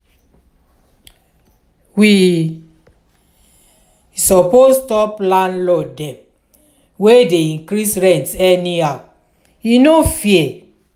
we suppose stop landlord dem wey dey increase rent anyhow e no fair.